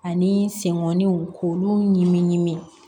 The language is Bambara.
Ani senkɔninw k'olu ɲimi ɲimi